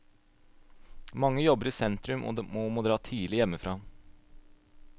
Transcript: Mange jobber i sentrum og må dra tidlig hjemmefra.